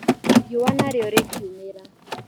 Riũwa nario rĩ kiumĩra.